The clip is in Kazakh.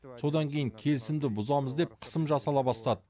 содан кейін келісімді бұзамыз деп қысым жасала бастады